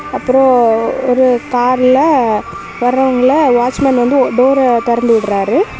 அப்பரோ ஒரு கார்ல வரவங்கள வாட்ச்மேன் வந்து டோர திறந்து விடறாரு.